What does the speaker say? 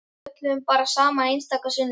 Við spjölluðum bara saman einstaka sinnum.